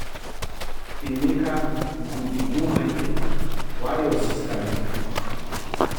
Emeka you go dey go market while your sister go cook